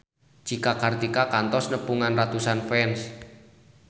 Cika Kartika kantos nepungan ratusan fans